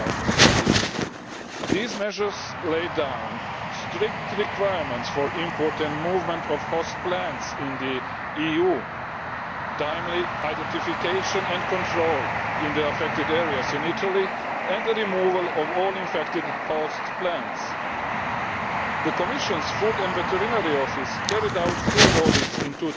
2014. These measures lay down strict requirements for import and movement of host plants in the EU, timely identification and control in the affected areas in Italy and the removal of all infected host plants. The Commission's Food and Veterinary Office carried out two audits in